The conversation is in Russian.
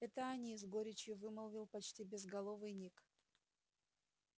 это они с горечью вымолвил почти безголовый ник